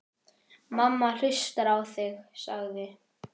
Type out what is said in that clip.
Mamma hlustar á þig, sagði